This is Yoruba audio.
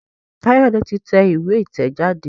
Kayode tí tẹ̀ ìwé itẹjade.